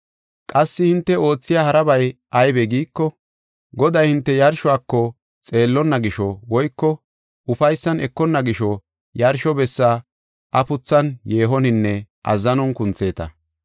Qassi hinte oothiya harabay aybe giiko, Goday hinte yarshuwako xeellonna gisho woyko ufaysan ekonna gisho yarsho bessa afuthan, yeehoninne azzanon kuntheeta.